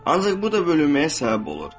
Ancaq bu da bölünməyə səbəb olur.